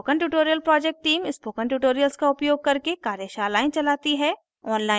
spoken tutorial project team spoken tutorials का उपयोग करके कार्यशालाएं चलाती है